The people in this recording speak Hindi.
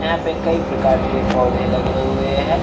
यहाँ पे कई प्रकार के पौधे लगे हुए हैं ।